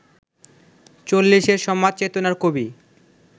চল্লিশের সমাজ চেতনার কবি